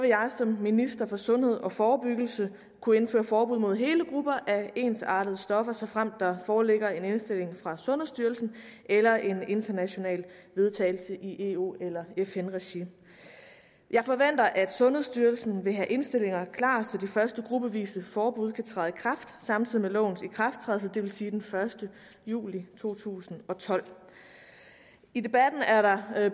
jeg som minister for sundhed og forebyggelse kunne indføre forbud mod hele grupper af ensartede stoffer såfremt der foreligger en indstilling fra sundhedsstyrelsen eller en international vedtagelse i eu eller fn regi jeg forventer at sundhedsstyrelsen vil have indstillinger klar så de første gruppevise forbud kan træde i kraft samtidig med lovens ikrafttrædelse det vil sige den første juli to tusind og tolv i debatten er der